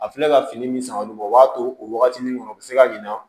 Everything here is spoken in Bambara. A filɛ ka fini min san olu b'o o b'a to o waatinin kɔnɔ u bi se ka ɲina